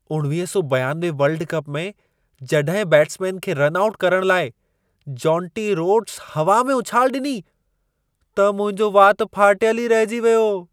1992 world cup में जॾहिं batsman खे रन आउट करणु लाइ जोंटी रोड्स हवा में उछाल ॾिनी त मुंहिंजो वात फाटियल ई रहिजी वियो।